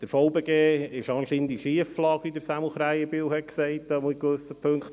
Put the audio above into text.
Der VBG ist anscheinend in Schieflage, wie Samuel Krähenbühl gesagt hat, jedenfalls in gewissen Punkten.